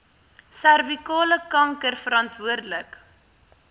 servikale kanker verantwoordelik